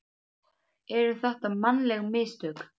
Eru þetta mannleg mistök?